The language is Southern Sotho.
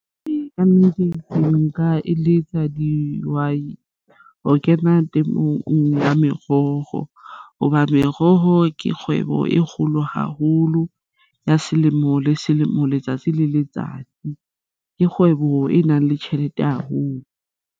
Kannete, ke nka eletsa dihwai ho kena temong ya meroho hobane meroho ke kgwebo e kgolo haholo ya selemo le selemo letsatsi le letsatsi ke kgwebo e nang le tjhelete haholo.